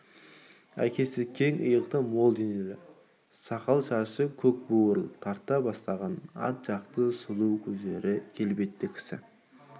әкесі кең иықты мол денелі сақал-шашы көкбурыл тарта бастаған ат жақты сұлу көзді келбетті кісі